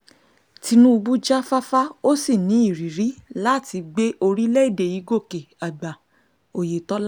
tinúbù jáfáfá ó sì ní ìrírí láti gbé orílẹ̀‐èdè yìí gòkè àgbà oyetola